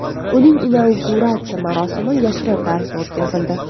Uning inauguratsiya marosimi yashirin tarzda o‘tkazildi.